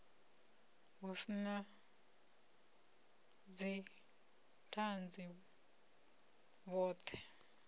hu si na dzithanzi vhothe